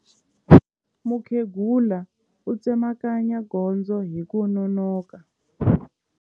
Mukhegula u tsemakanya gondzo hi ku nonoka.